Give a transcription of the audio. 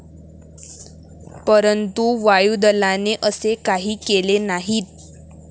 परंतु, वायुदलाने असे काही केले नाही.